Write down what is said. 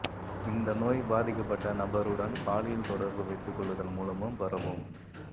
இந்த நோய் பாதிக்கப்பட்ட நபருடன் பாலியல் தொடர்பு வைத்துக்கொள்ளுதல் மூலமும் பரவும்